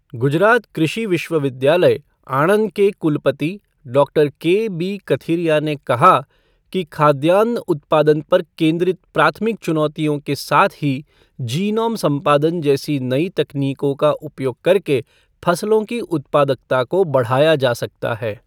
गुजरात कृषि विश्वविद्यालय, आणंद के कुलपति डॉक्टर केबी कथिरिया ने कहा कि, खाद्यान्न उत्पादन पर केंद्रित प्राथमिक चुनौतियों के साथ ही जीनोम संपादन जैसी नई तकनीकों का उपयोग करके फसलों की उत्पादकता को बढ़ाया जा सकता है।